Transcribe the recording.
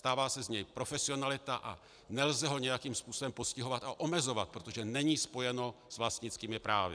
Stává se z něj profesionalita a nelze ho nějakým způsobem postihovat a omezovat, protože není spojeno s vlastnickými právy.